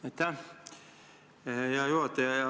Aitäh, hea juhataja!